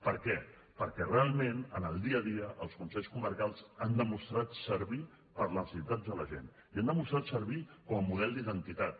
per què perquè realment en el dia a dia els consells comarcals han demostrat servir per a les necessitats de la gent i han demostrat servir com a model d’identitat